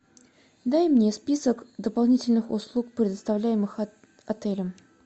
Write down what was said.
дай мне список дополнительных услуг предоставляемых отелем